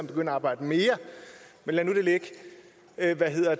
begynde at arbejde mere men lad nu det ligge